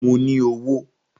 Mo ní owó